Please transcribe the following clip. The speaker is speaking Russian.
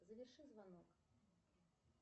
заверши звонок